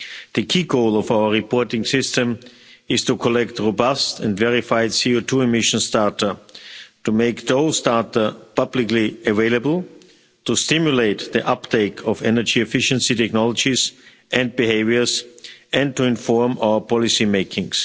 The key goal of our reporting system is to collect robust and verified CO2 emissions data, to make those data publicly available, to stimulate the uptake of energy efficient technologies and behaviours, and to inform our policymaking.